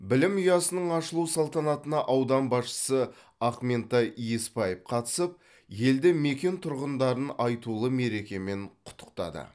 білім ұясының ашылу салтанатына аудан басшысы ақментай есбаев қатысып елді мекен тұрғындарын айтулы мерекемен құттықтады